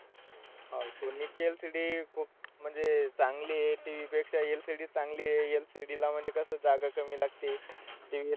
हा सोनीची LCD खूप म्हणजे अह चांगली आहे. तिच्या LCD चांगली आहे. LCD ला म्हणजे कसं जागा कमी लागते. TV ला,